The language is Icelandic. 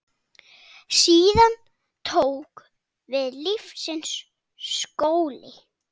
Síðan tók við lífsins skóli.